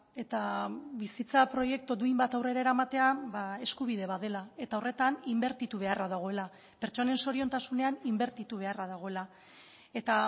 eta bizitza proiektu duin bat aurrera eramatea eskubide bat dela eta horretan inbertitu beharra dagoela pertsonen zoriontasunean inbertitu beharra dagoela eta